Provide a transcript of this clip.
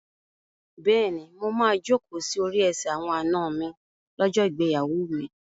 Bẹ́ẹ̀ni, mo máa jókòó sí orí ẹsẹ̀ àwọn àna mi lọ́jọ́ ìgbéyàwó mi.